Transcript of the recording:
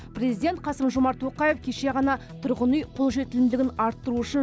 президент қасым жомарт тоқаев кеше ғана тұрғын үй қолжетімділігін арттыру үшін